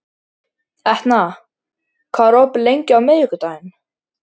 Etna, hvað er opið lengi á miðvikudaginn?